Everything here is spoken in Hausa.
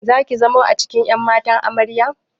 Zaki zamo cikin ƴan matan Amarya?